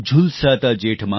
झुलसाता जेठ मास